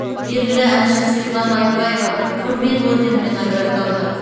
белгілі әнші светлана айтбаева құрмет орденімен наградталды